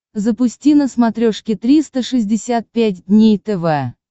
запусти на смотрешке триста шестьдесят пять дней тв